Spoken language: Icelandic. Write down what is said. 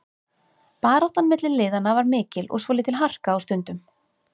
Baráttan milli liðanna var mikil og svolítil harka á stundum.